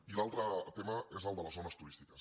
i l’altre tema és el de les zones turístiques